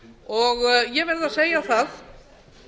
tókst ég verð að segja það